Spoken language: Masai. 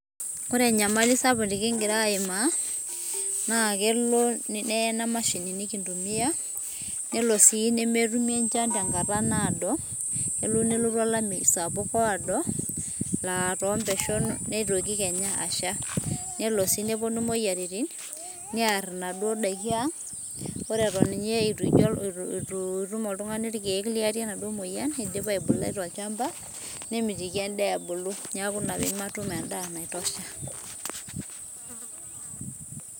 ore enyamali sapuk ningira aima na kelo nee ena mashini nikintumia nelo si nemetumi enchan tenkata nado, elo nelotu alameyu sapuk oado, aa tonpeshon nitoki kenya asha nelo si neponu imoyiaritin, niar ina duo nakin ang, ore duo eton etu itum oltungani ilkeek liarie enaduo moyian indipa aibulai tolchamba nemitiki enda ebulu niaku ina pematum endaa naitosha.